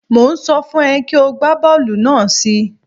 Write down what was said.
Mò ń sọ fún ẹ kí o gbá bọ́ọ̀lù náà sí i.